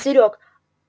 серёг